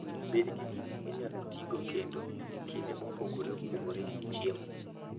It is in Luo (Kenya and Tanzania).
Bed gi gik minyalo tigo kendo e kinde mopogore opogore e chiemo.